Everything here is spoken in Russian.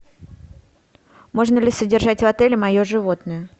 можно ли содержать в отеле мое животное